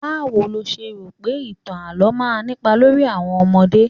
Báwo lo ṣe rò pé ìtàn àlo máa ń nípa lórí àwọn ọmọdé?